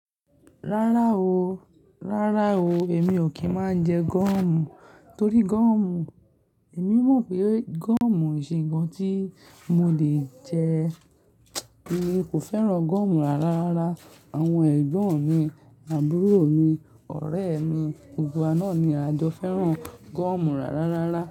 Rárá o, rárá o. Èmi ò kí ń máa jẹ gọ̀ọ̀mù torí gọ̀ọ̀mù, èmi mọ̀ pé gúọ̀mù kìí ṣe ǹkan tí mo le jẹ. Èmi kò fẹ́ràn gọ̀ọ̀mù rá rárá. Àwọn ẹ̀gbọ́n mi, àbúrò mi, ọ̀rẹ́ mi, gbogbo wa nàá ni a jọ fẹ́ràn gọ̀ọ̀mù rárá rárá.